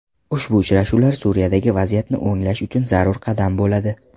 Ushbu uchrashuvlar Suriyadagi vaziyatni o‘nglash uchun zarur qadam bo‘ladi.